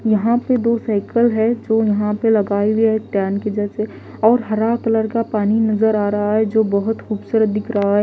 यहां पे दो साइकिल है जो यहां पे लगाई हुई है टैन की जैसे और हरा कलर का पानी नजर आ रहा है जो बहुत खूबसूरत दिख रहा है।